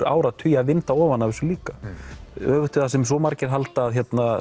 áratugi að vinda ofan af þessu líka öfugt við það sem svo margir halda að